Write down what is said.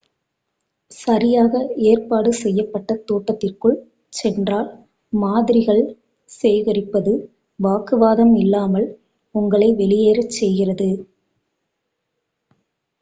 "சரியாக ஏற்பாடு செய்யப்பட்ட தோட்டத்திற்குள் சென்றால் "மாதிரிகள்" சேகரிப்பது வாக்குவாதம் இல்லாமல் உங்களை வெளியேற செய்கிறது.